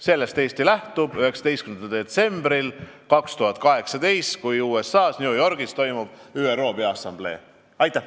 Sellest Eesti lähtubki 19. detsembril 2018, kui USA-s New Yorgis toimub ÜRO Peaassamblee istung.